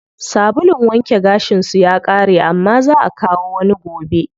Sabulun wanke gashin su ya ƙare amma zaa akawo wani gobe.